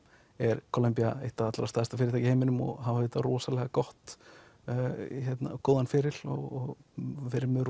er Columbia eitt allra stærsta fyrirtæki í heiminum og á rosalega góðan feril og verið með